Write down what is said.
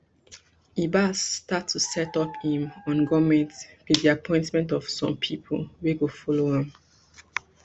ibas start to set up im on goment wit di appointment of some pipo wey go follow am